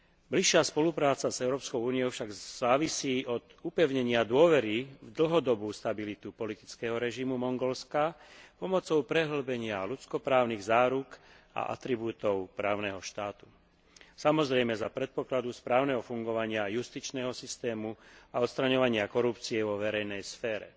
Bližšia spolupráca s Európskou úniou však závisí od upevnenia dôvery v dlhodobú stabilitu politického režimu Mongolska pomocou prehĺbenia ľudsko právnych záruk a atribútov právneho štátu, samozrejme za predpokladu správneho fungovania justičného systému a odstraňovania korupcie vo verejnej sfére.